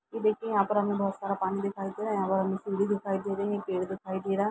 ये देखिए यहाँ पर हमें बहोत सारा पानी दिखाई दे रहा है यहाँ पर हमें सीढ़ी दिखाई दे रहे पेड़ दिखाई दे रहा।